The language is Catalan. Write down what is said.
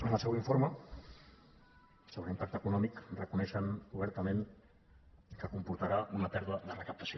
en el seu informe sobre l’impacte econòmic reconeixen obertament que comportarà una pèrdua de recaptació